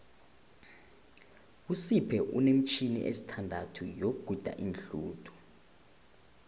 usipho unemitjhini esithandathu yokuguda iinhluthu